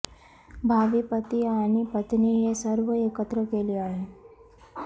भावी पती आणि पत्नी हे सर्व एकत्र केली आहे